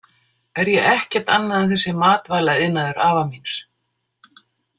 Er ég ekkert annað en þessi matvælaiðnaður afa míns?